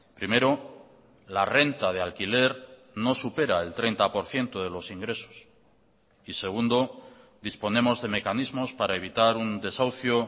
primero la renta de alquiler no supera el treinta por ciento de los ingresos y segundo disponemos de mecanismos para evitar un desahucio